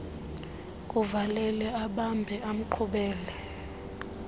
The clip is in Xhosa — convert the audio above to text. kumvalela ambambe amqhubele